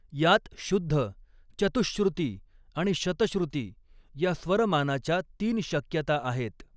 यात शुद्ध, चतुहश्रृती आणि शतश्रृती या स्वरमानाच्या तीन शक्यता आहेत.